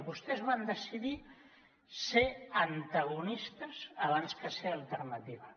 vostès van decidir ser antagonistes abans que ser alternativa